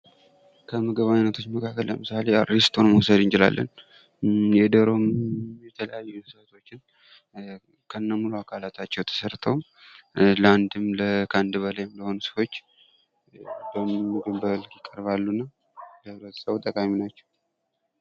ከምግብ ዓይነቶች መካከል ለምሳሌ እሮስቶን መውሰድ እንችላለን። የዶሮውም የተለያዩ እንስሳቶቹ ከሙሉ አካላታቸው ተሠርተው ለአንድም ከአንድ በላይም ለሆኑም ሰዎች በሙሉ ክብራቸው ይቅርባሉ እና ለህብረተሰቡ ጠቃሚ ናቸው።